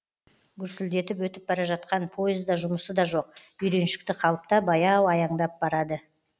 гүрсілдетіп өтіп бара жатқан поезда жұмысы да жоқ үйреншікті қалыпта баяу аяңдап барады